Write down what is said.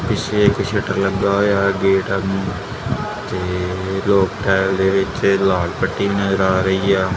ਪਿੱਛੇ ਇਕ ਸ਼ਟਰ ਲੱਗਾ ਹੋਇਆ ਗੇਟ ਤੇ ਲੋਕ ਟੈਲਦੇ ਵਿੱਚ ਲਾਲ ਪੱਟੀ ਨਜ਼ਰ ਆ ਰਹੀ ਆ।